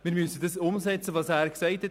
Wir müssen umsetzen, was er gesagt hat.